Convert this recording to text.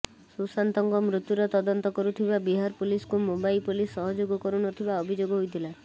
ସୁଶାନ୍ତଙ୍କ ମୃତ୍ୟୁର ତଦନ୍ତ କରୁଥିବା ବିହାର ପୋଲିସକୁ ମୁମ୍ବାଇ ପୋଲିସ ସହଯୋଗ କରୁ ନ ଥିବା ଅଭିଯୋଗ ହୋଇଥିଲା